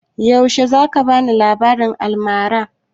Yaushe za ka bani labaran almara?